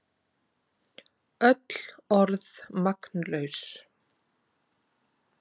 Öll orð magnlaus.